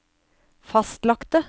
fastlagte